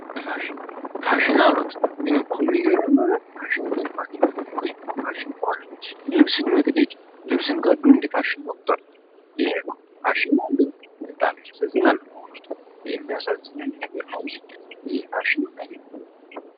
ፋሽን አሉት ግንኮ ሚገርመው ነገር ፋሽን የሚባል የለምኮ ይህኩ ፋሽን ልብስን መቅዴድ ልብስን ቀዶ እንዲፋሽን መቁጠር ይህኮ ፋሽን ነው እንደ ይሄ በጣም ያሳዝናል በእውነቱ በጣም የሚያሳዝን ነገር ነው እንጂ ፋሽን አይደለም